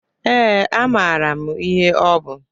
Ee, amara m ihe ọ bụ.